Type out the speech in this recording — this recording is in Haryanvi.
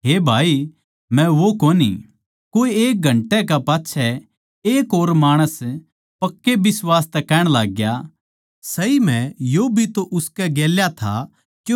कोए एक घंटे कै पाच्छै एक और माणस पक्के बिश्वास तै कहण लाग्या सही म्ह यो भी तो उसकै गेल्या था क्यूँके यो गलीलवासी सै